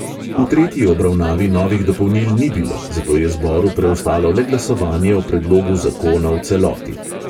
V tretji obravnavi novih dopolnil ni bilo, zato je zboru preostalo le glasovanje o predlogu zakona v celoti.